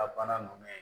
A bana ninnu